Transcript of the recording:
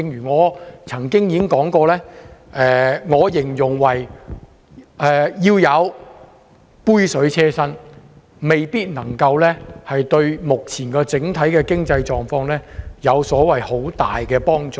我曾經形容這項安排為杯水車薪，未必能夠對目前整體的經濟狀況有很大幫助。